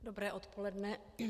Dobré odpoledne.